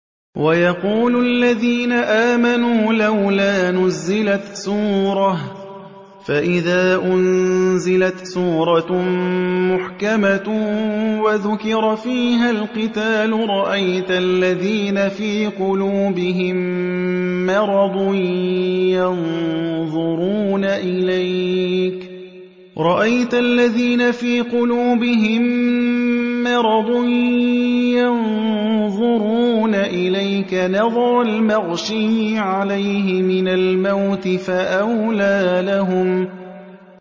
وَيَقُولُ الَّذِينَ آمَنُوا لَوْلَا نُزِّلَتْ سُورَةٌ ۖ فَإِذَا أُنزِلَتْ سُورَةٌ مُّحْكَمَةٌ وَذُكِرَ فِيهَا الْقِتَالُ ۙ رَأَيْتَ الَّذِينَ فِي قُلُوبِهِم مَّرَضٌ يَنظُرُونَ إِلَيْكَ نَظَرَ الْمَغْشِيِّ عَلَيْهِ مِنَ الْمَوْتِ ۖ فَأَوْلَىٰ لَهُمْ